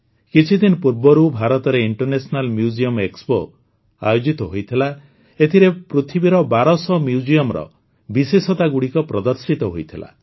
କିଛିଦିନ ପୂର୍ବରୁ ଭାରତରେ ଇଣ୍ଟରନ୍ୟାସନାଲ ମ୍ୟୁଜିୟମ ଏକ୍ସପୋ ଆୟୋଜିତ ହୋଇଥିଲା ଏଥିରେ ପୃଥିବୀର ବାରଶହ ମ୍ୟୁଜିୟମର ବିଶେଷତାଗୁଡ଼ିକ ପ୍ରଦର୍ଶିତ ହୋଇଥିଲା